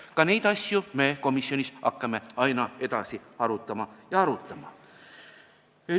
Ka neid asju me komisjonis hakkame aina edasi arutama ja arutama.